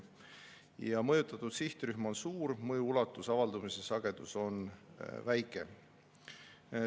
Mõjutatud sihtrühm on suur, aga mõju ulatus ja avaldumise sagedus on väike.